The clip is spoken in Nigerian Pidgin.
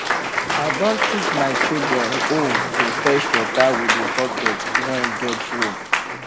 i don teach my children hoe to fetch water with the bucket wen get rope